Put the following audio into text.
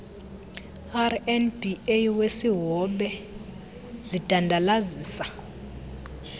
rnba wesihobe zidandalazisa